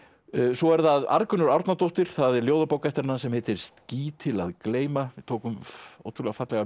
svo er það Arngunnur Árnadóttir það er ljóðabók eftir hana sem heitir ský til að gleyma við tókum ótrúlega fallegar